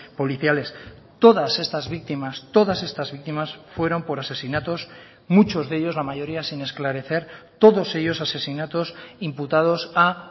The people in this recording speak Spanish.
policiales todas estas víctimas todas estas víctimas fueron por asesinatos muchos de ellos la mayoría sin esclarecer todos ellos asesinatos imputados a